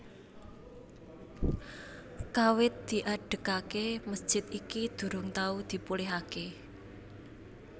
Kawit diadegaké mesjid iki durung tau dipulihaké